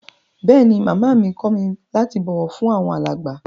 Bẹẹni, Máamá mi kọ mi lati bọwọ fun awọn alágba.